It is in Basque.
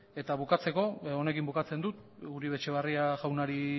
eta bukatzeko honekin bukatzen dut uribe etxebarria jaunari